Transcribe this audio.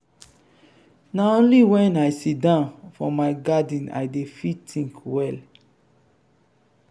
na only wen i siddon for my garden i dey fit tink well.